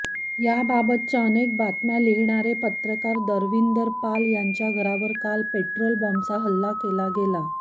याबाबतच्या अनेक बातम्या लिहिणाऱे पत्रकरा दविंदर पाल यांच्या घरावर काल पेट्रोल बॉम्बचा हल्ला केला गेला